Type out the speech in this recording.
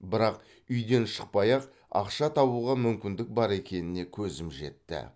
бірақ үйден шықпай ақ ақша табуға мүмкіндік бар екеніне көзім жетті